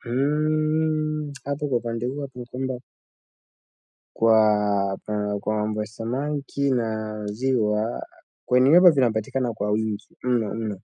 Hmm. Hapo kwa upande huo ni kwamba kwa mambo ya samaki na ziwa kwenye hivyo vinapatikana kwa wingi mno mno